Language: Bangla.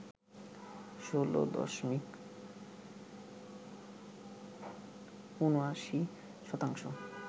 ১৬ দশমিক ৭৯ শতাংশ